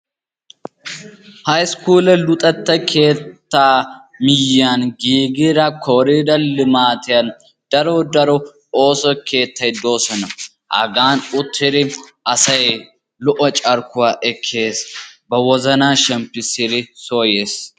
Hayiskuule luxetta keettaa miyiyani giigida kooriidere limaatiyan daro daro ooso keettay doosona. hagan uttidi asay lo'o carkkuwa ekees. ba wozanaa shemppisidi soo yees.